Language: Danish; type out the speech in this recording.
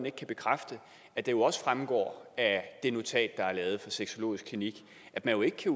ikke kan bekræfte at det jo også fremgår af det notat der er lavet af sexologisk klinik at man ikke kan